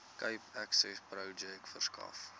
cape accessprojek verskaf